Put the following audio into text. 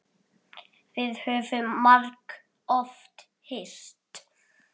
Við höfum margoft hist.